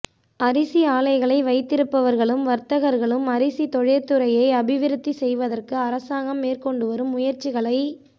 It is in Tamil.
அரிசி ஆலைகளை வைத்திருப்பவர்களும் வர்த்தகர்களும் அரிசி தொழிற்துறையை அபிவிருத்தி செய்வதற்கு அரசாங்கம் மேற்கொண்டுவரும் முயற்சிகளை